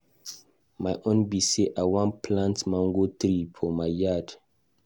My own be say I wan plant mango tree for my yard.